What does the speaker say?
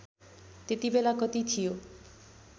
त्यतिबेला कति थियो